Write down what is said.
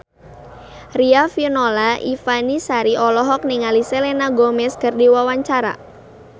Riafinola Ifani Sari olohok ningali Selena Gomez keur diwawancara